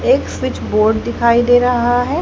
Switch board दिखाई दे रहा है।